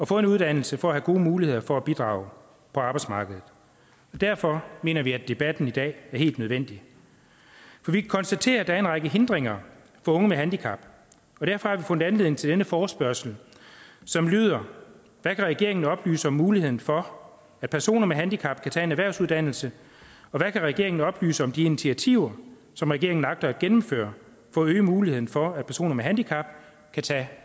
få en uddannelse for at have gode muligheder for at bidrage på arbejdsmarkedet derfor mener vi at debatten i dag er helt nødvendig vi kan konstatere at der er en række hindringer for unge med handicap og derfor har vi fundet anledning til denne forespørgsel som lyder hvad kan regeringen oplyse om muligheden for at personer med handicap kan tage en erhvervsuddannelse og hvad kan regeringen oplyse om de initiativer som regeringen agter at gennemføre for at øge muligheden for at personer med handicap vil tage